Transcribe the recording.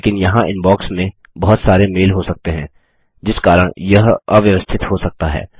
लेकिन यहाँ इनबॉक्स में बहुत सारे मेल हो सकते हैं जिस कारण यह अव्यवस्थित हो सकता है